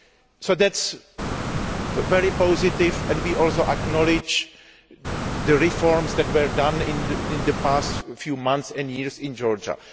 So that is very positive, and we also acknowledge the reforms that have been made in the past few months and years in Georgia.